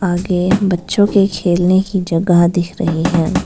आगे बच्चों के खेलने की जगह दिख रही है।